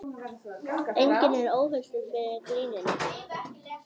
Enginn er óhultur fyrir gríninu